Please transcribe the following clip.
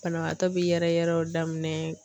Banabagatɔ bɛ yɛrɛyɛrɛw daminɛ.